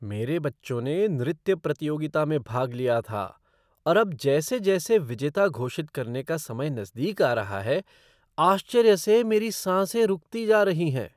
मेरे बच्चों ने नृत्य प्रतियोगिता में भाग लिया था और अब जैसे जैसे विजेता घोषित करने का समय नज़दीक आ रहा है, आश्चर्य से मेरी साँसे रुकती जा रही हैं।